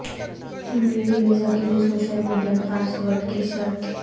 امریکی ویزا کیلئے social media password کی شرط